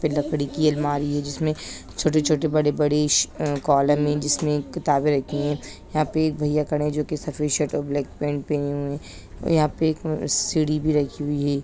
लकड़ी की अलमारी है जिसमें छोटे-छोटे बड़े-बड़े अ कॉलम हैं जिसमें किताबें रखी हैं यहाँ पे एक भैया खड़े हैं जो की सफेद शर्ट और ब्लैक पैंट पहने हुए हैं और यहाँ पे एक सीढ़ी भी रखी हुई है।